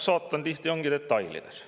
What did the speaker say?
Saatan tihti ongi detailides.